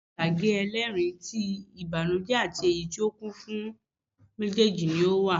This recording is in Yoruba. Eré ìtàgé ẹlẹ́ẹ̀rín, ti ìbànújẹ́ àti èyí tí ó kún fún méjèjì ni ó wà